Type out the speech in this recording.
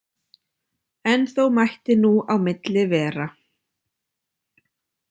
En þó mætti nú á milli vera.